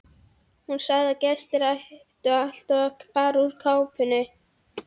Hún sagði að gestir ættu alltaf að fara úr kápunni.